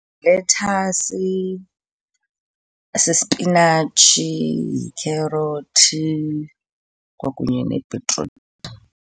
Yilethasi, sispinatshi, yikherothi kwakunye nebhitruthi.